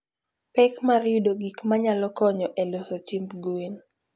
Pek mar yudo gik ma nyalo konyo e loso chiemb gwen.